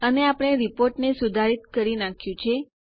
અને આપણે રીપોર્ટને સુધારિત કરી નાખ્યું છે